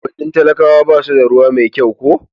unguwannin talakawa basu da ruwa mai kyau ko